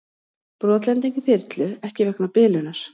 Brotlending þyrlu ekki vegna bilunar